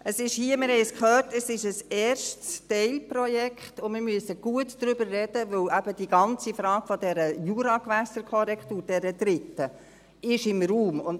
Es ist – wir haben es gehört – ein erstes Teilprojekt, und wir müssen gut darüber sprechen, weil eben die ganze Frage der dritten Juragewässerkorrektur im Raum steht.